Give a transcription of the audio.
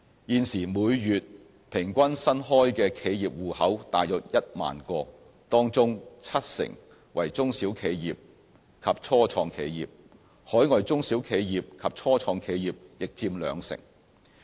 現時每月平均新開的企業戶口大約有1萬個，當中七成為中小企業及初創企業，海外中小企業及初創企業亦佔兩成。